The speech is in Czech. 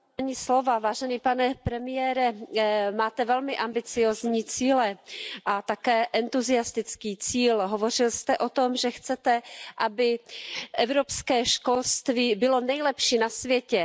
Pane předsedající, pane premiére, máte velmi ambiciózní a také entuziastické cíle. Hovořil jste o tom, že chcete, aby evropské školství bylo nejlepší na světě.